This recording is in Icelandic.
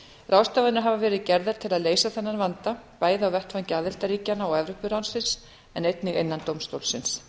ráðstafanir hafa verið gerðar til að leysa þennan vanda bæði á vettvangi aðildarríkjanna og evrópuráðsins en einnig innan dómstólsins